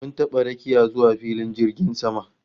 Mun taba rakiya zuwa filin jirgin sama